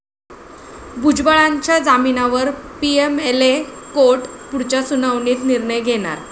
भुजबळांच्या जामिनावर 'PMLA' court पुढच्या सुनावणीत निर्णय घेणार